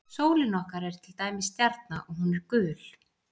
Sólin okkar er til dæmis stjarna og hún er gul.